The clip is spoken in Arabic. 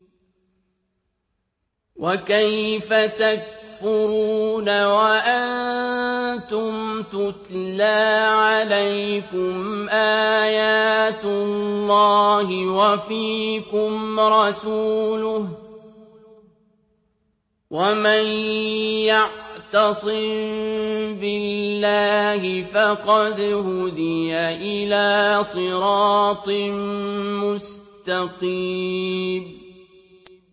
وَكَيْفَ تَكْفُرُونَ وَأَنتُمْ تُتْلَىٰ عَلَيْكُمْ آيَاتُ اللَّهِ وَفِيكُمْ رَسُولُهُ ۗ وَمَن يَعْتَصِم بِاللَّهِ فَقَدْ هُدِيَ إِلَىٰ صِرَاطٍ مُّسْتَقِيمٍ